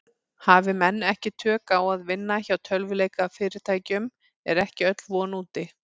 Hafi menn ekki tök á að vinna hjá tölvuleikjafyrirtækjum er ekki öll von úti.